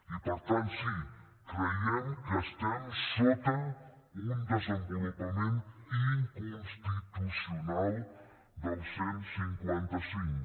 i per tant sí creiem que estem sota un desenvolupament inconstitucional del cent i cinquanta cinc